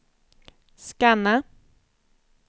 scanna